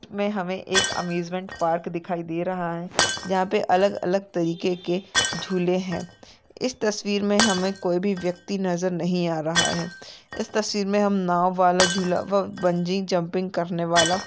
मे हमे एक amusement park दिखाई दे रहा है जहाँ पे अलग-अलग तरीके के झूले है इस तस्वीर मे हमे कोई भी व्यक्ति नजर नहीं आ रहा है इस तस्वीर मे हम नाव वाला झूला व बंजिं-जंपिंग करनेवाला--